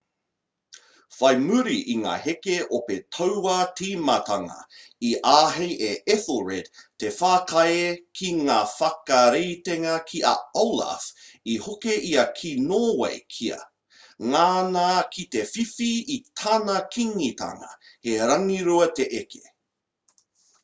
whai muri i ngā heke ope tauā tīmatanga i āhei a ethelred te whakaae ki ngā whakaritenga ki a olaf i hoki ia ki nōwei kia ngana ki te whiwhi i tana kīngitanga he rangirua te eke